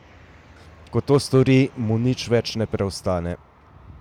Ko to stori, mu nič več ne preostane.